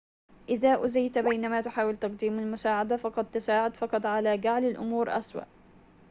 إذا أوذيت بينما تحاول تقديم المساعدة فقد تساعد فقط على جعل الأمور أسوء